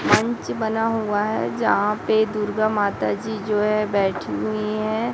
मंच बना हुआ है यहां पे दुर्गा माता जी जो है बैठी हुई हैं।